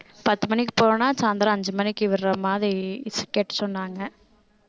பத்து மணிக்கு போறோம்னா சாயந்திரம் அஞ்சு மணிக்கு விடுற மாதிரி கேட்க சொன்னாங்க